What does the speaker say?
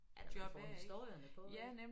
At få historierne på ik